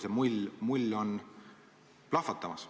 See mull on plahvatamas.